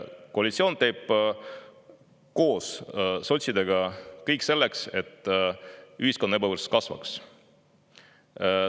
Koalitsioon teeb koos sotsidega kõik selleks, et ühiskonna ebavõrdsus kasvaks.